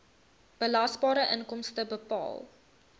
belasbare inkomste bepaal